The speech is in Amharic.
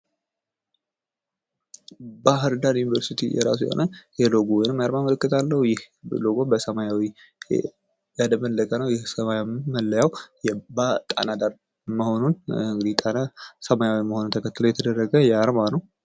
ባህርዳር ዩኒቨርስቲ የራሱ የሆነ የሎጎ ወይም የአርማ ምልክት አለው ይህ ሎጎ በሰማያዊ ያደበለቀ ነው ይህ ሰማያዊ መለያው ጣና ዳር መሆኑን ጣና ሰማያዊ መሆኑን ተከትሎ የተደረገ ነው።